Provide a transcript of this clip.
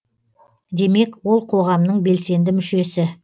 демек ол қоғамның белсенді мүшесі